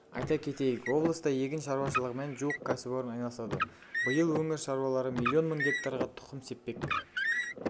айта кетейік облыста егін шаруашылығымен жуық кәсіпорын айналысады биыл өңір шаруалары миллион мың гектарға тұқым сеппек